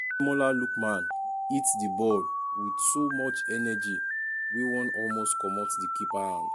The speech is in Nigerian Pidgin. ademola lookman um hit di ball wit so much energy wey wan um almost comot di keeper hand.